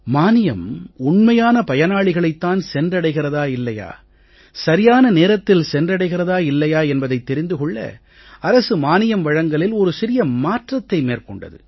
மானியம் உண்மையான பயனாளிகளைத் தான் சென்றடைகிறதா இல்லையா சரியான நேரத்தில் சென்றடைகிறதா இல்லையா என்பதைத் தெரிந்து கொள்ள அரசு மானியம் வழங்கலில் ஒரு சிறிய மாற்றத்தை மேற்கொண்டது